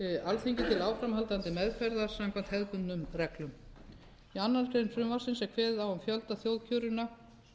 alþingi til áframhaldandi meðferðar samkvæmt hefðbundnum reglum í annarri grein frumvarpsins er kveðið á um fjölda þjóðkjörinna